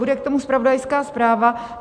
Bude k tomu zpravodajská zpráva.